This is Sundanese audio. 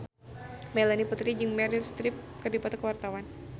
Melanie Putri jeung Meryl Streep keur dipoto ku wartawan